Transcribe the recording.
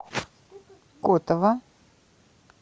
котово